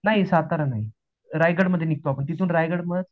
नाही सातारा नाही, रायगड मधे निघतो आपण तिथून रायगड